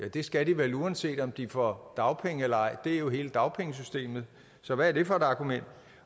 det skal de vel uanset om de får dagpenge eller ej det er jo hele dagpengesystemet så hvad er det for et argument